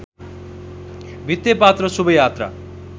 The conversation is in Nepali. भित्तेपात्रो शुभ यात्रा